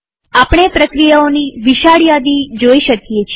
આપણે પ્રક્રિયાઓની વિશાળ યાદી જોઈ શકીએ છીએ